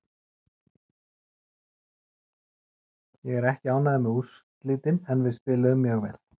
Ég er ekki ánægður með úrslitin en við spiluðum mjög vel.